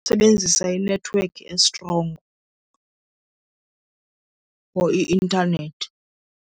Sebenzisa inethiwekhi estrongo for i-intanethi.